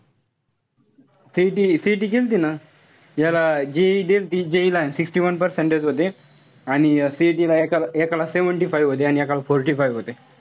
CET-CET केल्ती ना. याला JEE देलती. JEE ला sixty one percentage होते. आणि CET एका एकाला seventy five होते. आणि एकाला forty five होते.